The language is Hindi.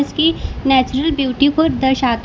इसकी नेचुरल ब्यूटी को दर्शाता है।